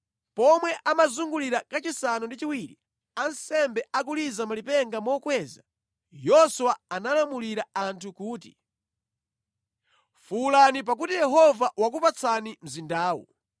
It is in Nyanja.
Pomwe amazungulira kachisanu ndi chiwiri, ansembe akuliza malipenga mokweza, Yoswa analamulira anthu kuti “Fuwulani pakuti Yehova wakupatsani mzindawu!